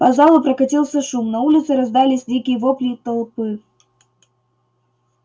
по залу прокатился шум на улице раздались дикие вопли толпы